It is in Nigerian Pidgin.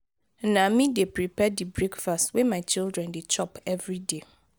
na me dey prepare the breakfast wey my children dey chop everyday.